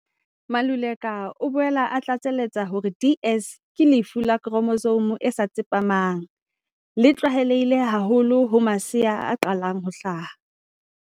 Maluleka o boela a tlatsa letsa hore DS ke lefu la khro mosome e sa tsepamang le tlwaelehileng haholoholo ho masea a qetang ho hlaha.